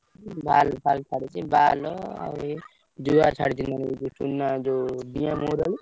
କରିଛି ଡିଆଁ ମହୁରାଳି।